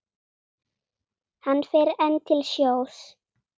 Hann fer enn til sjós.